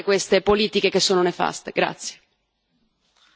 Vi prego di riflettere su questo e di cambiare queste politiche che sono nefaste.